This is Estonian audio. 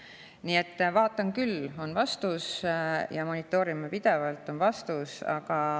Nii et vaatan küll, on vastus, ja monitoorime pidevalt, on vastus.